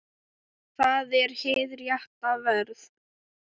Það var hið rétta verð.